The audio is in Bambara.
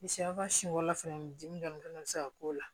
Siyɛw ka siyɛn fɔlɔ fɛnɛ dimi dɔn bi se ka k'o la